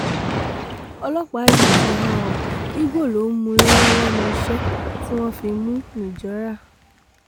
ọlọ́pàá yìí ti há ọ igbó ló ń mú lọ́wọ́ lẹ́nu iṣẹ́ tí wọ́n fi mú un nìjọra